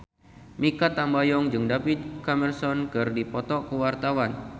Mikha Tambayong jeung David Cameron keur dipoto ku wartawan